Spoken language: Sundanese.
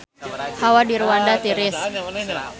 Hawa di Rwanda tiris